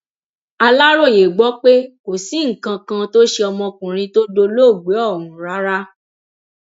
aláròye gbọ pé kò sí nǹkan kan tó ṣe ọmọkùnrin tó dolóògbé ọhún rárá